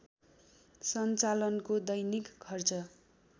सञ्चालनको दैनिक खर्च